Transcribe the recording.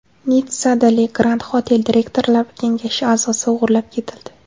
Nitssada Le Grand Hotel direktorlar kengashi a’zosi o‘g‘irlab ketildi.